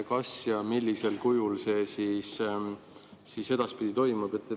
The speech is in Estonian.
Kas ja millisel kujul see siis edaspidi toimub?